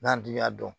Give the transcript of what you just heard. N'an dun y'a dɔn